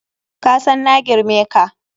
Kasan na girme ka.